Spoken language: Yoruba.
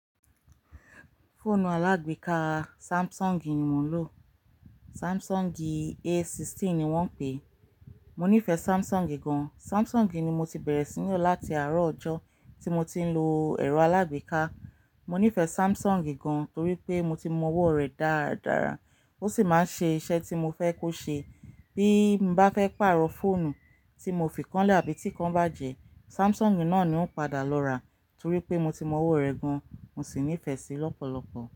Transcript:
Fóònù alágbèéká Samsung ni mò ń lò, Samsung A16 ni wọ́n ń pè é. Mò nífẹ̀ẹ́ Samsung gan. Samsung ni mo ti bẹ̀rẹ̀ sí ní lò láti àárọ̀ ọjọ́ tí mo ti ń lo ẹ̀rọ alágbèéká. Mo nífẹ̀ẹ́ Samsung gan torí pé mo ti mọ owó rẹ̀ dáradára, ó sì máa ń ṣe iṣẹ́ tí mo fẹ́ kó ṣe. Bí mo bá fẹ́ pàrọ̀ fóònù tí mo fi kán lẹ̀ àbí tí kán bá jẹ, Samsung náà ni ó padà lọ ra torí pé mo ti mọ ọ̀wọ rẹ̀ gan, mo sì nífẹ̀ẹ́ sí i lọ́pọ̀lọpọ̀.